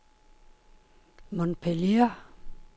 Montpellier